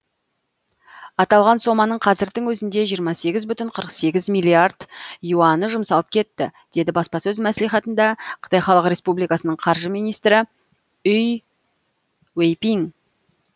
аталған соманың қазірдің өзінде жиырма сегіз бүтін қырық сегіз миллиард юаны жұмсалып кетті деді баспасөз мәслихатында қытай халық республикасының қаржы министрі үй уэйпиң